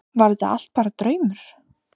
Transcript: Var þetta allt bara draumur?